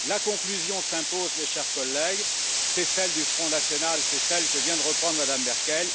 La conclusion s'impose, mes chers collègues c'est celle du Front national, c'est celle que vient de reprendre Mme Merkel.